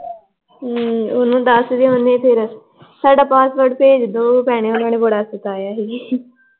ਹਮ ਉਨੂੰ ਦਸਦੇ ਹੁਨੇ, ਫਿਰ ਸਾਡਾ ਪਾਸਪੋਰਟ ਭੇਜ ਦੋ ਭੈਣੇ ਉਹਨਾਂ ਨੇ ਬੜਾ ਸਤਾਇਆ ਹੀ l